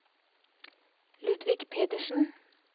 Ludvig Pedersen